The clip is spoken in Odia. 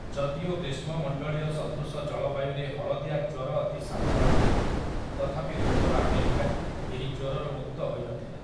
ଯଦିଓ ଗ୍ରୀଷ୍ମମଣ୍ଡଳୀୟ ସଦୃଶ ଜଳବାୟୁରେ ହଳଦିଆ ଜ୍ୱର ଅତି ସାଧାରଣ, ତଥାପି ଉତ୍ତର ଆମେରିକା ଏହି ଜ୍ୱରରୁ ମୁକ୍ତ ହୋଇନଥିଲା ।